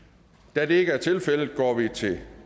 da det ikke er tilfældet går vi til